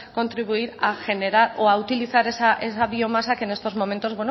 contribuir a generar o a utilizar esa biomasa que en estos momentos